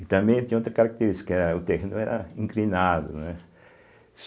E também tinha outra característica, o terreno era inclinado, né.